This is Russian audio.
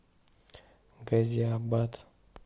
газиабад